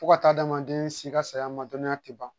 Fo ka taa adamaden si ka saya ma dɔnniya ti ban